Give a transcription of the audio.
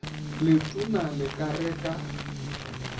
letona le ka re ka